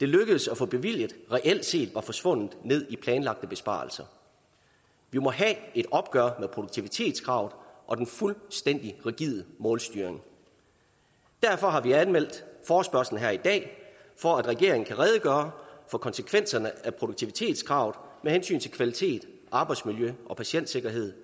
lykkedes at få bevilget reelt set var forsvundet ned i planlagte besparelser vi må have et opgør med produktivitetskrav og den fuldstændig rigide målstyring derfor har vi anmeldt forespørgslen her i dag for at regeringen kan redegøre for konsekvenserne af produktivitetskrav med hensyn til kvalitet og arbejdsmiljø og patientsikkerhed